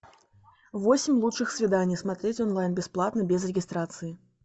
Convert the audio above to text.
восемь лучших свиданий смотреть онлайн бесплатно без регистрации